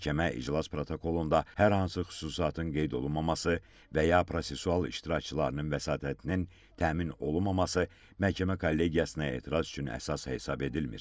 Məhkəmə iclas protokolunda hər hansı xüsusatın qeyd olunmaması və ya prosessual iştirakçılarının vəsatətinin təmin olunmaması məhkəmə kollegiyasına etiraz üçün əsas hesab edilmir.